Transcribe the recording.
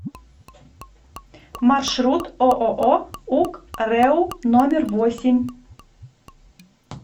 маршрут ооо ук рэу номер восемь